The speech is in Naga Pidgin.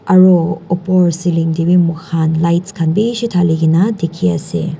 aro opor ceiling taebi mokhan lights khan bishi thalikae na dikhiase.